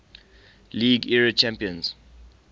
league era champions